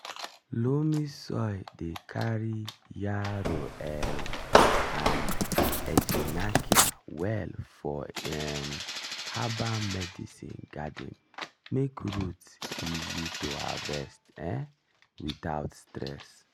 loamy soil dey carry yarrow um and echinacea well for um herbal medicine garden make root easy to harvest um without stress.